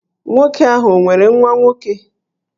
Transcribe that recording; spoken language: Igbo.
Nwoke ahụ o nwere nwa nwoke?